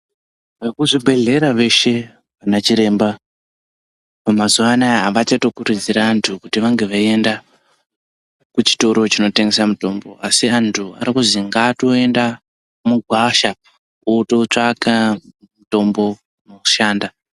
Vekuzvibhedhlera veshe anachiremba, mazuwa anaa avachatokurudziri anthu, kuti vange veienda kuchitoro chinotengesa mitombo, asi vanthu vari kuzwi ngavatoenda mugwasha, vootsvaka mutombo unoshanda.